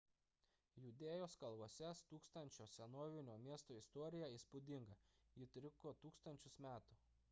judėjos kalvose stūksančio senovinio miesto istorija įspūdinga ji truko tūkstančius metų